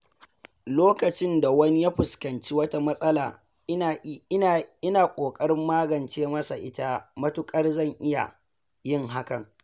Lokacin da wani ya fuskanci wata matsala, ina ƙoƙarin magance masa ita matuƙar zan iya yin hakan.